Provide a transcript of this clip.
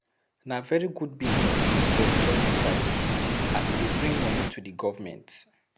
Na very good business for di tourist side, as e dey bring money to di government